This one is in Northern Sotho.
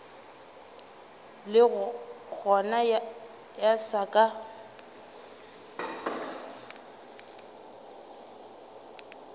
le gona ya se ke